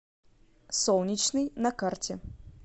солнечный на карте